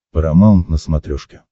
парамаунт на смотрешке